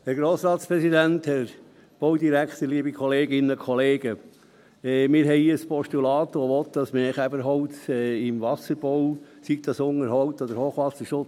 Wir haben hier ein Postulat, das will, dass mehr Käferholz im Wasserbau eingesetzt wird, sei es im Unterhalt oder im Hochwasserschutz.